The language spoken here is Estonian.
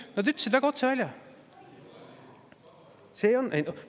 Nad ütlesid selle väga otse välja.